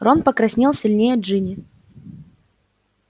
рон покраснел сильнее джинни